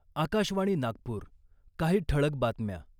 आकाशवाणी नागपूर काही ठळक बातम्या ...